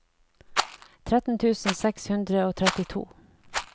tretten tusen seks hundre og trettito